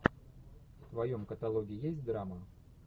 в твоем каталоге есть драма